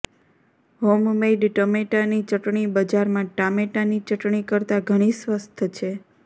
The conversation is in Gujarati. હોમમેઇડ ટમેટાની ચટણી બજારમાં ટામેટાની ચટણી કરતાં ઘણી સ્વસ્થ છે